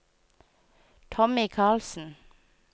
Tommy Karlsen